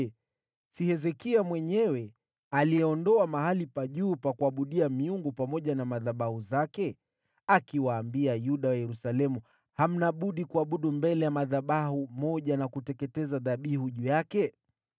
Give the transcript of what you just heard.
Je, si Hezekia mwenyewe aliyeondoa mahali pa juu pa kuabudia miungu pamoja na madhabahu zake, akiwaambia Yuda wa Yerusalemu, ‘Ni lazima mwabudu mbele ya madhabahu moja na kuteketeza dhabihu juu yake’?